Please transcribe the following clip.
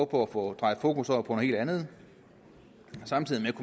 på at få drejet fokus over på noget helt andet samtidig med